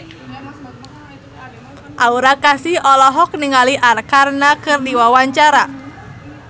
Aura Kasih olohok ningali Arkarna keur diwawancara